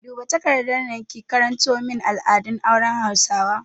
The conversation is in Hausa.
Duba takardar nan ki karanto min al'adun auren hausawa!